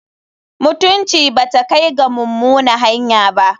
Mutunci ba ta kai ga mummuna hanya.